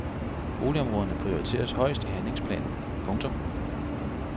Boligområderne prioriteres højst i handlingsplanen. punktum